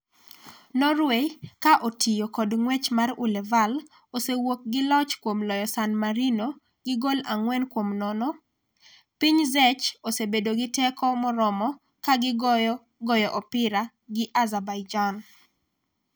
Norway, ka otiyo kod ng'wech mar Ullevaal, osewuok gi loch kuom loyo San Marino gi gol 4-0, piny Czech osebedo gi teko moromo ka gigoyo goyo opira gi Azerbaijan.